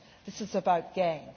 loss. This is about